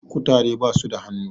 kutare basuda hannu